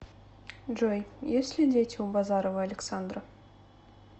джой есть ли дети у базарова александра